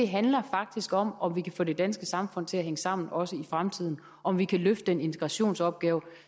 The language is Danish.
handler faktisk om om vi kan få det danske samfund til at hænge sammen også i fremtiden om vi kan løfte den integrationsopgave